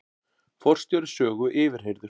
Forstjóri Sögu yfirheyrður